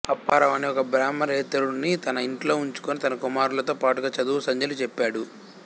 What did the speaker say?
అప్పారావు అనే ఒక బ్రాహ్మణేతరుడిని తన ఇంటిలోనే ఉంచుకుని తన కుమారులతో పాటుగా చదువు సంధ్యలు చెప్పాడు